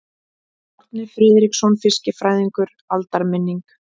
Árni Friðriksson fiskifræðingur: Aldarminning.